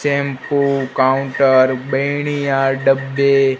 shampoo counter बेड़ियां डब्बे--